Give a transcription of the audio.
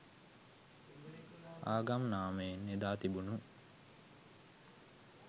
ආගම් නාමයෙන් එදා තිබුණු